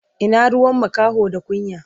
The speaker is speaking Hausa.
Ina ruwan makaho da kunya?